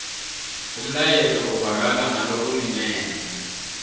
umlayeto uvakala ngalokulingene